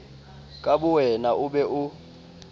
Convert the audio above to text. ka bowena o be o